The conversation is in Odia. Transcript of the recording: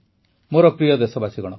ମୋର ପ୍ରିୟ ଦେଶବାସୀଗଣ